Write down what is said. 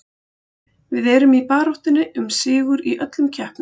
Við erum í baráttunni um sigur í öllum keppnum.